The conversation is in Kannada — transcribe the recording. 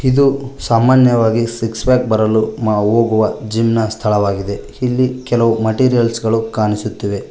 ಇದು ಸಾಮಾನ್ಯವಾಗಿ ಸಿಕ್ಸ್ ಪ್ಯಾಕ್ ಬರಲು ನಾವು ಹೋಗುವ ಜಿಮ್ ಸ್ಥಳವಾಗಿದೆ ಇಲ್ಲಿ ಕೆಲವು ಮೆಟೀರಿಯಲ್ಸ್ ಗಳು ಕಾಣಿಸುತ್ತವೆ.